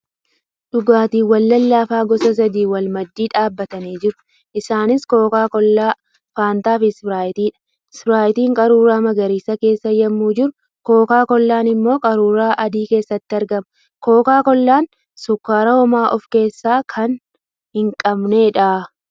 Dhugaatiiwwan lalaafaa gosa sadii wal maddii dhaabatanii jiru. Isaaniis kookaa kollaa, faantaa fi Ispiraayitiidha. Ispiraayitiin qaruura magariisa keessa yemmu jiru kookaa kollaan immoo qaruura adii keessatti argama. Kookaa kollaan sukkaara homaa of keessaa kan hin qabneedha.